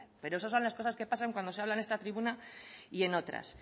pero eso son las cosas que pasan cuando se habla en esta tribuna y en otras